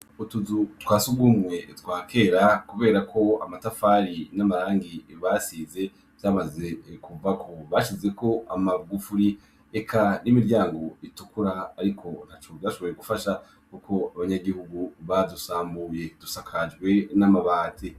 Utuzu twasugumwe twakera kubera ko amatafari n'amarangi basize vyamaze kuvako bashizeko amagufuri eka n'imiryango itukura ariko ntaco vyashoboye gufasha kuko abanyagihugu badusambuye dusakajwe n'amabati.